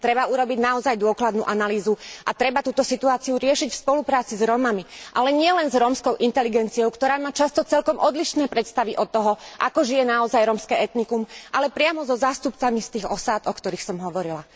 Treba urobiť naozaj dôkladnú analýzu a treba túto situáciu riešiť v spolupráci s Rómami, ale nielen s rómskou inteligenciou, ktorá má často celkom odlišné predstavy od toho, ako žije naozaj rómske etnikum, ale priamo so zástupcami z tých osád, o ktorých som hovorila.